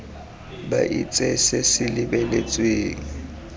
ba itse se se lebeletsweng